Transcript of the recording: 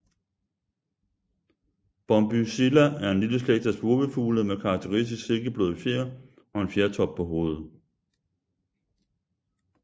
Bombycilla er en lille slægt af spurvefugle med karakteristisk silkebløde fjer og en fjertop på hovedet